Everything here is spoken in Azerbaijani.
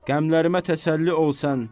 Qəmlərimə təsəlli ol sən!